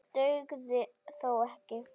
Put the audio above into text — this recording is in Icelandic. Það dugði þó ekki.